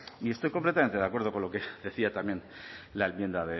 y estoy completamente de acuerdo con lo que decía también la enmienda